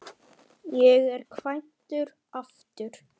Ég er kvæntur aftur.